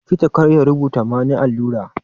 Likita kar ya rubuta mani allura.